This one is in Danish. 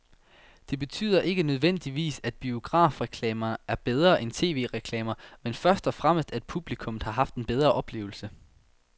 Det betyder ikke nødvendigvis, at biografreklamen er bedre end tv-reklamen, men først og fremmest at publikum har haft en bedre oplevelse.